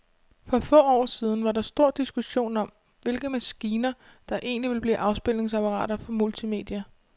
For få år siden var der stor diskussion om, hvilke maskiner, der egentlig ville blive afspilningsapparater for multimedia.